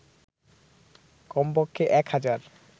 কমপক্ষে ১ হাজার